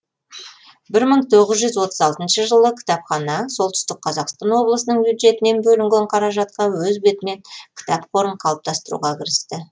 бір мың тоғыз жүз отыз алтыншы жылы кітапхана солтүстік қазақстан облысының бюджетінен бөлінген қаражатқа өз бетімен кітап қорын қалыптастыруға кірісті